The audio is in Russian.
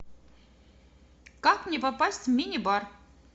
как мне попасть в минибар